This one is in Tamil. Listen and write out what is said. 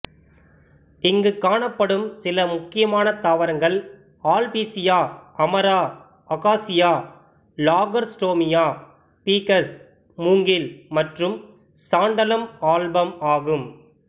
இங்குக் காணப்படும் சில முக்கியமான தாவரங்கள் albizia amara acacia lagerstroemia ficus மூங்கில் மற்றும் சாண்டலம் ஆல்பம் ஆகும்